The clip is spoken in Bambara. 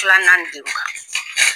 Filanan de wa.